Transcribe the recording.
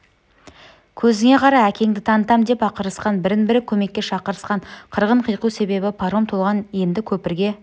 көзіңе қара әкеңді танытам деп ақырысқан бірін-бірі көмекке шақырысқан қырғын қиқу себебі паром толған енді көпірге